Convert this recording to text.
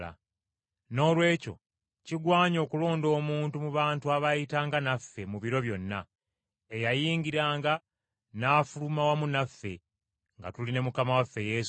Noolwekyo kigwanye okulonda omuntu mu bantu abaayitanga naffe mu biro byonna, eyayingiranga n’afuluma wamu naffe nga tuli ne Mukama waffe Yesu,